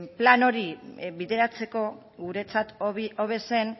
plan hori bideratzeko guretzat hobe zen